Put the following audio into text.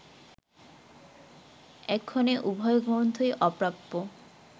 এক্ষণে উভয় গ্রন্থই অপ্রাপ্য